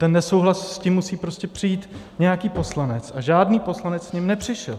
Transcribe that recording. Ten nesouhlas, s tím musí prostě přijít nějaký poslanec, a žádný poslanec s ním nepřišel.